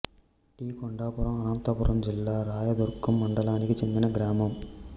D Kondapuram Anantapuram జిల్లా రాయదుర్గం మండలానికి చెందిన గ్రామం